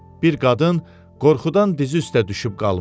Bir qadın qorxudan dizi üstə düşüb qalmışdı.